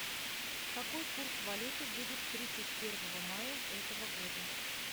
какой курс валюты будет тридцать первого мая этого года